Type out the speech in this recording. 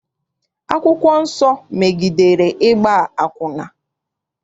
Akwụkwọ nsọ megidere ịgba akwụna.